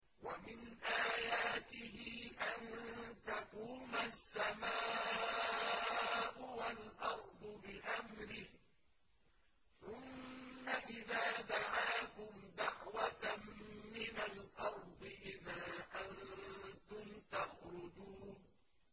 وَمِنْ آيَاتِهِ أَن تَقُومَ السَّمَاءُ وَالْأَرْضُ بِأَمْرِهِ ۚ ثُمَّ إِذَا دَعَاكُمْ دَعْوَةً مِّنَ الْأَرْضِ إِذَا أَنتُمْ تَخْرُجُونَ